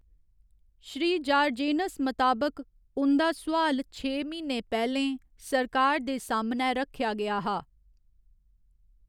श्री जार्जेनस मताबक, उं'दा सोआल छेह् म्हीने पैह्‌लें सरकार दे सामनै रक्खेआ गेआ हा।